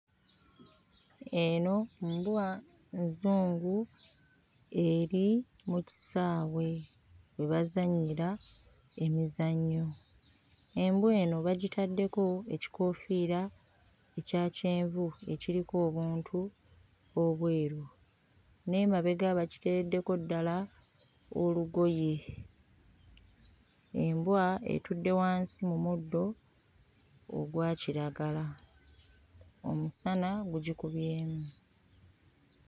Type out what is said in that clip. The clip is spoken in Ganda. Eno mbwa nzungu eri mu kisaawe gye bazannyira emizannyo. Embwa eno bagitaddeko ekikoofiira ekya kyenvu ekiriko obuntu obweru n'emabega bakiteerreddeo ddala olugoye. Embwa etudde wansi mu muddo ogwa kiragala omusana gugikubyemu.